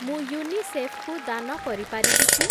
ମୁଁ ୟୁନିସେଫ୍‌ କୁ ଦାନ କରିପାରିବି କି?